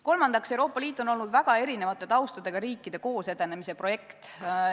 Kolmandaks, Euroopa Liit on olnud väga erineva taustaga riikide koosedenemise projekt.